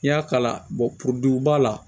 I y'a kala poroduba la